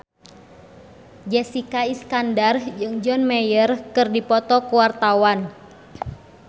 Jessica Iskandar jeung John Mayer keur dipoto ku wartawan